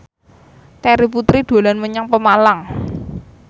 Terry Putri dolan menyang Pemalang